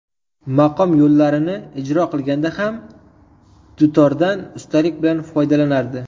Maqom yo‘llarini ijro qilganda ham dutordan ustalik bilan foydalanardi.